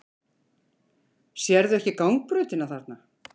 Sérðu ekki gangbrautina þarna?